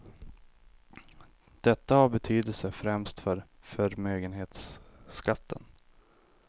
Detta har betydelse främst för förmögenhetsskatten.